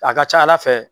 A ka ca ala fɛ